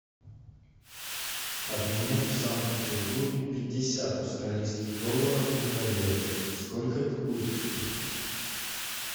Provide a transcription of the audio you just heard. обменять в санкт петербурге пятьдесят австралийских долларов на тенге сколько это будет